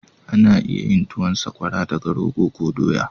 Ana iya yin tuwan sakwara daga rogo ko dowa